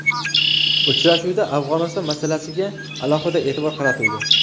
Uchrashuvda Afg‘oniston masalasiga alohida e’tibor qaratildi.